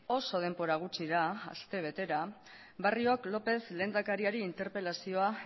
oso denbora gutxira aste betera barriok lópez lehendakari interpelazioa